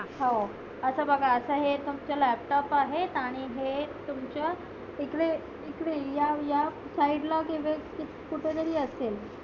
हो. असं बघा असं हे तुमचं Laptop आहेत आणि हे तुमच्या इकडे, इकडे या या side ला कुठे जरी असेल.